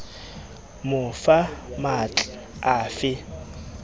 mo fa matl a fe